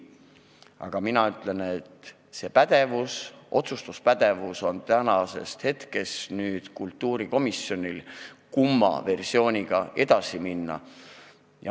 Aga mina ütlen, et nüüd on kultuurikomisjonil otsustuspädevus, kumma versiooniga edasi minna.